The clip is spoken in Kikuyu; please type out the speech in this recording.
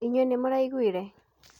Inyuĩ nĩ mũraiguire